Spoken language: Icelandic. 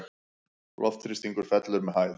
Loftþrýstingur fellur með hæð.